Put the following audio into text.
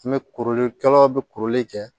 An bɛ kuruli kɛlaw bɛ kuruli kɛ